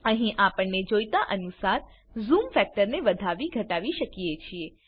અહી આપણને જોઈતા અનુસાર ઝૂમ ફેક્ટર ને વધાવી ઘટાવી શકીએ છીએ